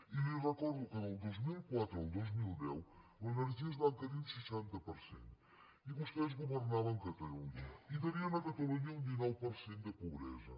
i li recordo que del dos mil quatre al dos mil deu l’energia es va encarir un seixanta per cent i vostès governaven catalunya i tenien a catalunya un dinou per cent de pobresa